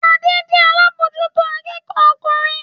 Adé jẹ́ alábòójútó akẹ́kọ̀ọ́ ọkùnrin